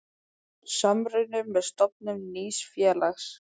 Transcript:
Samruni með stofnun nýs félags.